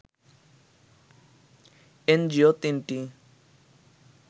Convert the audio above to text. NGO ৩টি